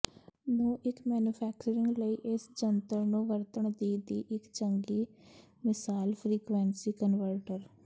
ਨੂੰ ਇੱਕ ਮੈਨੂਫੈਕਚਰਿੰਗ ਲਈ ਇਸ ਜੰਤਰ ਨੂੰ ਵਰਤਣ ਦੀ ਦੀ ਇੱਕ ਚੰਗੀ ਮਿਸਾਲ ਫਰੀਕੁਇੰਸੀ ਕਨਵਰਟਰ